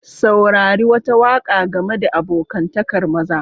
Saurari wata waka game da abokantakar maza.